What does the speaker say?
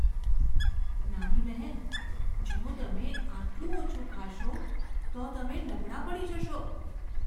નાની બહેન, જો તમે આટલું ઓછું ખાશો, તો તમે નબળાં પડી જશો.